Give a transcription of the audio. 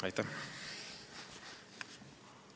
Aitäh!